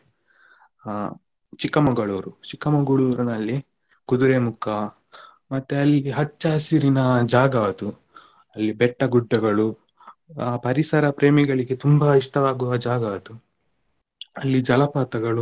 ಅ Chikmagalur Chikmagalur ನಲ್ಲಿ Kudremukha ಮತ್ತೆ ಅಲ್ಲಿ ಹಚ್ಚ ಹಸಿರಿನ ಜಾಗ ಅದು ಅಲ್ಲಿ ಬೆಟ್ಟ ಗುಡ್ಡಗಳು ಪರಿಸರ ಪ್ರೇಮಿಗಳಿಗೆ ತುಂಬ ಇಷ್ಟ ಆಗುವ ಜಾಗ ಅದು ಅಲ್ಲಿ ಜಲಪಾತಗಳು.